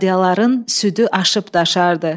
Badyaların südü aşıb daşardı.